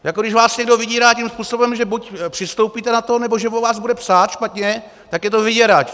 Jako když vás někdo vydírá tím způsobem, že buď přistoupíte na to, nebo že o vás bude psát špatně, tak je to vyděrač!